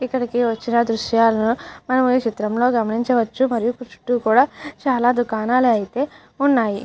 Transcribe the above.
ఇక్కడికి వచ్చిన దృశ్యాలను మనం ఈ చిత్రంలో లో గమనించవచ్చు మరియు చుట్టు కూడా చాలా దుకాణాలు అయితే ఉన్నయి.